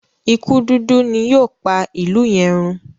ikú dúdú ni yóò pá ilú yen rún.